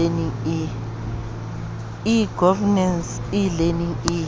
e governance e learning e